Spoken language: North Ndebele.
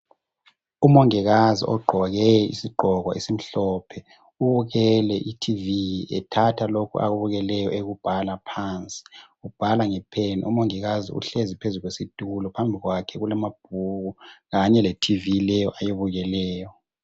Umongikazi ogqoke isigqoko esimhlophe ubukele i"tv" ethatha lokho akubukeleyo ekubhala phansi, ubhala nge"pen". Umongikazi uhlezi phezu kwesitulo phambi kwakhe kulamabhuku kanye le"tv" leyo ayibukeleyo.